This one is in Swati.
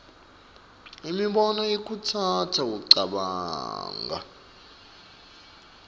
imibono ikhutsata kucabanga